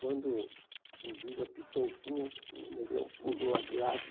Quando o juiz apitou o fim, o o negrão pulou a grade.